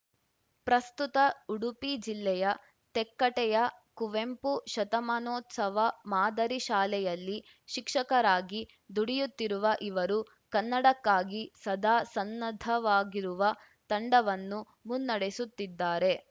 ಪ್ರಸ್ತುತ ಉಡುಪಿ ಜಿಲ್ಲೆಯ ತೆಕ್ಕಟ್ಟೆಯ ಕುವೆಂಪು ಶತಮಾನೋತ್ಸವ ಮಾದರಿ ಶಾಲೆಯಲ್ಲಿ ಶಿಕ್ಷಕರಾಗಿ ದುಡಿಯುತ್ತಿರುವ ಇವರು ಕನ್ನಡಕ್ಕಾಗಿ ಸದಾ ಸನ್ನದ್ಧವಾಗಿರುವ ತಂಡವನ್ನು ಮುನ್ನಡೆಸುತ್ತಿದ್ದಾರೆ